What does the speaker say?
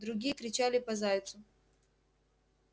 другие кричали по зайцу